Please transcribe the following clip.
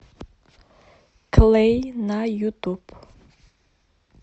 клэй на ютуб